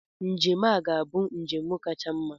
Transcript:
Njem a ga-abụ njem kacha mma.